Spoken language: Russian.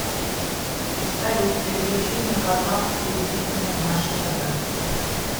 салют переключить на канал телевидения наше тв